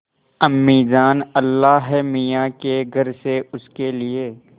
अम्मीजान अल्लाहमियाँ के घर से उसके लिए